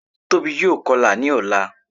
Tóbi yóò kọlà ní ọ̀la